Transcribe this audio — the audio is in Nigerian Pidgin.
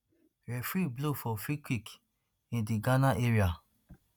referee blow for freekick in di ghana area